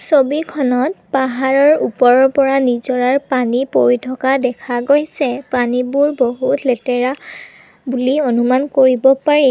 ছবিখনত পাহাৰৰ ওপৰৰ পৰা নিজৰাৰ পানী পৰি থকা দেখা গৈছে পানীবোৰ বহুত লেতেৰা বুলি অনুমান কৰিব পাৰি।